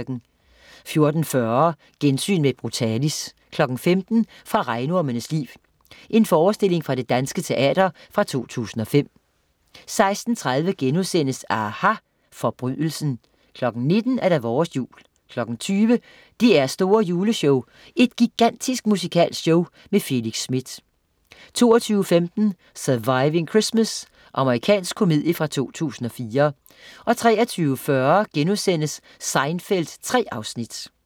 14.40 Gensyn med Brutalis 15.00 Fra Regnormenes Liv. Forestilling fra Det Danske Teater fra 2005 16.30 aHA! Forbrydelsen* 19.00 Vores jul 20.00 DR's store Juleshow. Et gigantisk musikalsk show. Felix Smith 22.15 Surviving Christmas. Amerikansk komedie fra 2004 23.40 Seinfeld 3 afsnit*